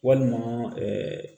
Walima